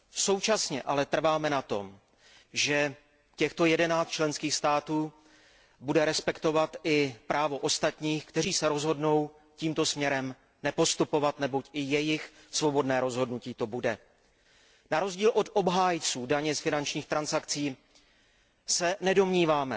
Současně ale trváme na tom, že těchto jedenáct členských států bude respektovat i právo ostatních, kteří se rozhodnou tímto směrem nepostupovat, neboť to bude jejich svobodné rozhodnutí. Na rozdíl od obhájců daně z finančních transakcí se nedomníváme,